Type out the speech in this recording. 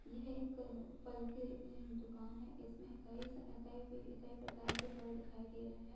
यह एक फल की अ दुकान है इसमें कई स कई अ कई प्रकार के फल दिखाई दे रहे है ।